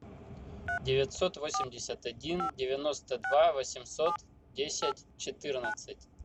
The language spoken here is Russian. девятьсот восемьдесят один девяносто два восемьсот десять четырнадцать